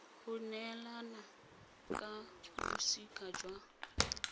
go neelana ka bosika jwa